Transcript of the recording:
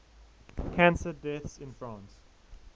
cancer deaths in france